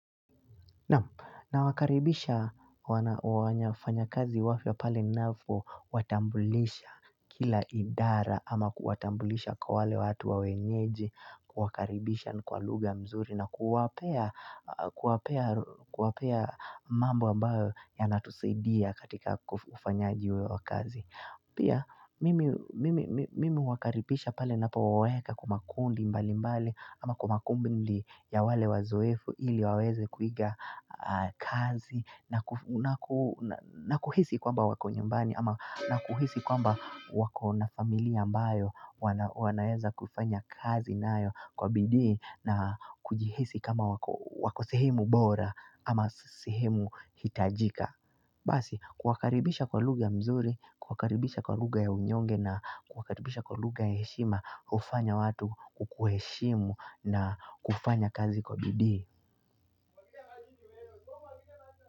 Na wakaribisha wafanyakazi wapya pale ninapowatambulisha kila idara ama kuwatambulisha kwa wale watu wenyeji kwa wakaribisha kwa lugha mzuri na kuwapea mambo ambayo yanatusaidia katika ufanyaji wa kazi. Pia, mimi huwakaribisha pale napowaweka kwa makundi mbali mbali, ama kwa makundi ya wale wazoefu ili waweze kuiga kazi, na kuhisi kwamba wako nyumbani, ama na kuhisi kwamba wako na familia ambayo, wanaweza kufanya kazi nayo kwa bidii, na kujihisi kama wako sehemu bora, ama sehemu hitajika. Basi kuwakaribisha kwa lugha nzuri, kuwakaribisha kwa lugha ya unyonge na kuwakaribisha kwa lugha ya heshima hufanya watu kukuheshimu na kufanya kazi kwa bidii.